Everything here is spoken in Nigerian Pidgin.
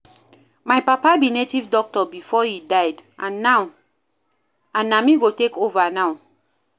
My papa be native doctor before he die and na me go take over now